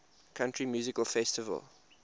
country music festival